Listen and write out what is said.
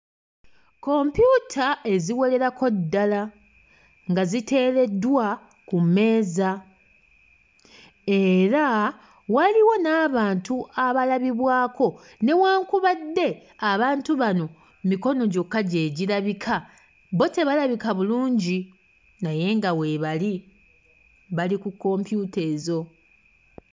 Kompyuta eziwererako ddala nga ziteereddwa ku mmeeza era waliwo n'abantu abalabibwako newankubadde abantu bano mikono gyokka gye girabika, bo tebalabika bulungi naye nga weebali, bali ku kompyuta ezo.